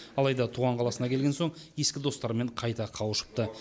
алайда туған қаласына келген соң ескі достарымен қайта қауышыпты